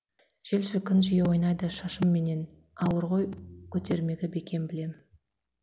жел шіркін жиі ойнайды шашымменен ауыр ғой көтермегі бекем білем